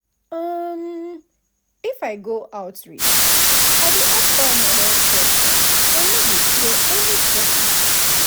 um if i go outreach i dey ask all my health questions i no dey fear anybody.